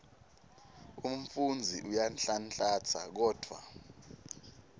umfundzi uyanhlanhlatsa kodvwa